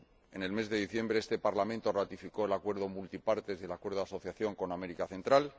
En el mes de diciembre, este Parlamento ratificó el acuerdo multipartes y el acuerdo de asociación con América Central.